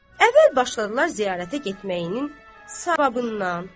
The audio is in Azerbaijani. Əvvəl başladılar ziyarətə getməyinin savabından.